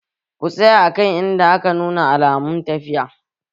Ku tsaya a kan inda aka nuna alamun tafiya!